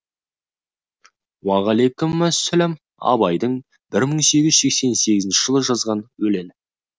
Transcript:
уағалайкүмүссәләм абайдың бір мың сегіз жүз сегізінші жылы жазған өлеңі